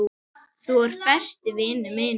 Þú ert besti vinur minn.